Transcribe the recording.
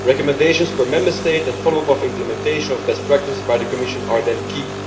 Recommendations per Member State and follow up of implementation of best practice by the Commission would then be key.